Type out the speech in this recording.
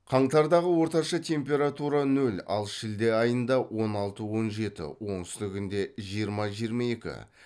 қаңтардағы орташа температура нөл ал шілде айында он алты он жеті оңтүстігінде жиырма жиырма екі